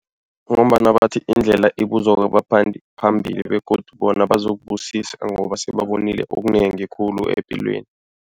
Ngombana bathi indlela ibuzwa kwabaphambili begodu bona bazokubusisa ngoba sebabonile okunengi khulu epilweni.